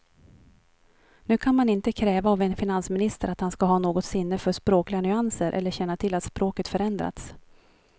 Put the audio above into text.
Nu kan man inte kräva av en finansminister att han ska ha något sinne för språkliga nyanser eller känna till att språket förändrats.